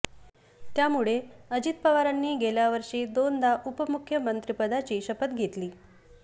त्यामुळे अजित पवारांनी गेल्या वर्षी दोनदा उपमुख्यमंत्रिपदाची शपथ घेतली